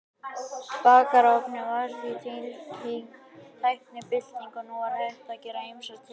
Bakarofninn var því eins og tæknibylting og nú var hægt að gera ýmsar tilraunir.